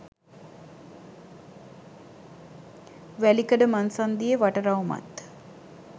වැලිකඩ මංසන්ධියේ වටරවුමත්